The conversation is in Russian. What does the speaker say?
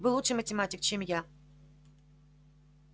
вы лучший математик чем я